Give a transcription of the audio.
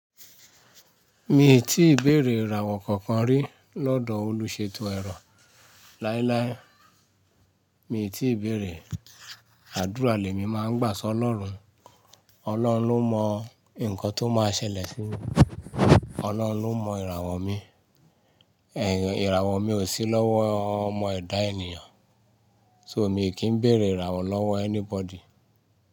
Mi ò tíì béèrè ìràwọ̀ kankan rí lọ́dọ̀ olùṣètò ẹ̀rọ láíláí. Mi ò tíì béèrè, àdúrà lé mi máa ń gbà sọ́ Olọ́run. Ọlọ́run ló mọ nǹkan tó máa ṣẹlẹ̀ sí mi. Ọlọ́run ló mọ ìràwọ̀ mi. Ìràwọ̀ mi ò sí lọ́wọ́ ọmọ ẹ̀dá ènìyàn. So mi kì í béèrè ìràwọ̀ lọ́wọ́ anybody.